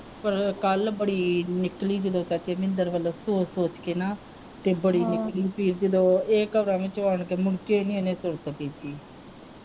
ਪਰ ਕੱਲ ਬੜੀ ਨਿਕਲੀ ਜਦੋਂ ਚਾਚੇ ਮਿੰਦਰ ਵਲੋਂ ਸੋਚ ਸੋਚ ਕੇ ਨਾ ਤੇ ਬੜੀ ਨਿਕਲੀ ਪੀੜ ਜਦੋਂ ਆਉਣ ਕੇ ਮੁੜਕੇ ਨੀ ਇਹਨੇ ਕੀਤੀ।